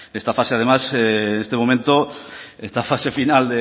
esta fase además en este momento esta fase final